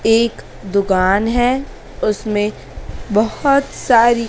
एक दुकान है उसमें बहोत सारी--